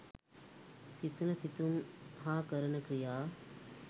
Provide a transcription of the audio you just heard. සිතන සිතුම් හා කරන ක්‍රියා